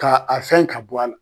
Ka a fɛn ka bɔ a la